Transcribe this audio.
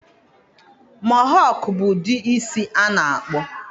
Mohọk bụ ụdị isi a na-akpụ.